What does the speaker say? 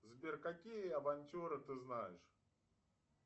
сбер какие авантюры ты знаешь